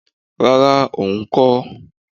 Rara! òun kọ́.